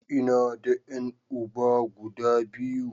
Ina da ƴan uba guda biyu.